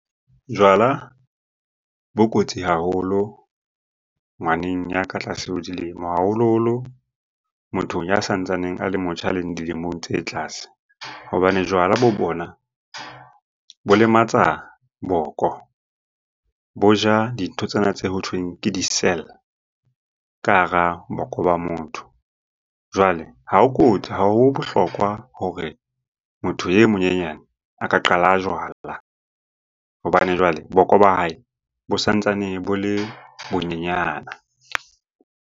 Jwala bo kotsi haholo ngwaneng ya ka tlase ho dilemo, haholoholo mothong ya sa ntsaneng a le motjha a leng dilemong tse tlase. Bobane jwala bo bona bo lematsa boko, bo ja dintho tsena tse ho thweng ke di-cell ka hara boko ba motho. Jwale ha o ha ho bohlokwa hore motho e monyenyane a ka qala jwala hobane jwale boko ba hae bo sa ntsane bo le bo nyenyana.